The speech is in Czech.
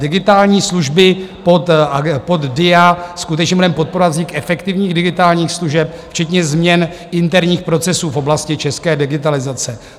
Digitální služby pod DIA - skutečně budeme podporovat vznik efektivních digitálních služeb včetně změn interních procesů v oblasti české digitalizace.